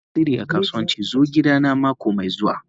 Mai tasirin a kasuwanci zo gidana mako mai zuwa.